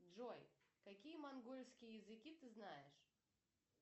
джой какие монгольские языки ты знаешь